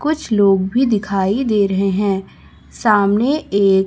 कुछ लोग भी दिखाई दे रहे हैं सामने एक--